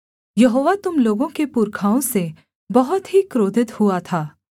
यहोवा तुम लोगों के पुरखाओं से बहुत ही क्रोधित हुआ था